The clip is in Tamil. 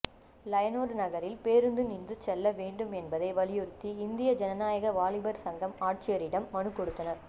லெயனோர்டு நகரில் பேருந்து நின்று செல்ல வேண்டும் என்பதை வலியுறுத்தி இந்திய ஜனநாயக வாலிபர் சங்கம் ஆட்சியரிடம் மனு கொடுத்தனர்